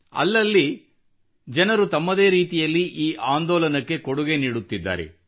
ಅಲ್ಲಲ್ಲಿ ಜನರು ತಮ್ಮದೇ ರೀತಿಯಲ್ಲಿ ಈ ಆಂದೋಲನಕ್ಕೆ ಕೊಡುಗೆ ನೀಡುತ್ತಿದ್ದಾರೆ